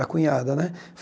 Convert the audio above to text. A cunhada, né?